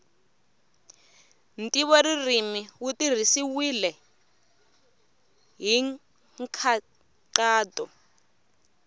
ntivoririmi wu tirhisiwile hi nkhaqato